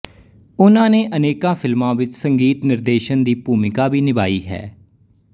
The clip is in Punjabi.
ਉਨ੍ਹਾਂ ਨੇ ਅਨੇਕਾਂ ਫਿਲਮਾਂ ਵਿੱਚ ਸੰਗੀਤ ਨਿਰਦੇਸ਼ਨ ਦੀ ਭੂਮਿਕਾ ਵੀ ਨਿਭਾਈ ਹੈ